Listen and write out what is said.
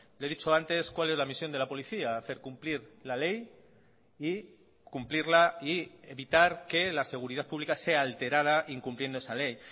le he dicho antes cuál es la misión de la policía hacer cumplir la ley y cumplirla y evitar que la seguridad pública sea alterada incumpliendo esa ley